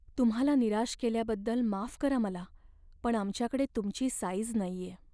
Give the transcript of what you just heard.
तुम्हाला निराश केल्याबद्दल माफ करा मला पण आमच्याकडे तुमची साईझ नाहीये.